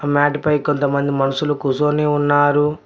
Mat పై కొంతమంది మనుషులు కూసోని ఉన్నారు.